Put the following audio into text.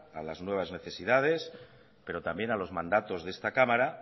a las nuevas necesidad pero también a los mandatos de esta cámara